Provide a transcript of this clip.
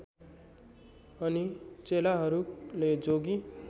अनि चेलाहरूले जोगी